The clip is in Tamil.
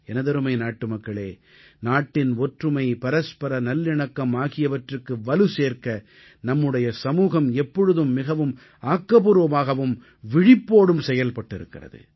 எனதருமை நாட்டுமக்களே நாட்டின் ஒற்றுமை பரஸ்பர நல்லிணக்கம் ஆகியவற்றுக்கு வலுசேர்க்க நம்முடைய சமூகம் எப்பொழுதும் மிகவும் ஆக்கப்பூர்வமாகவும் விழிப்போடும் செயல்பட்டிருக்கிறது